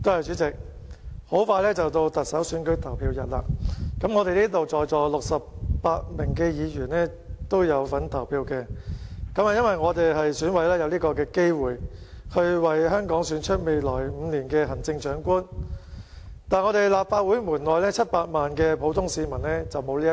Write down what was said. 主席，特首選舉投票日很快就到，在座68位議員都有份投票，因為我們都是選舉委員會委員，有機會為香港選出未來5年的行政長官，但立法會門外700多萬名普通市民則不能夠投票。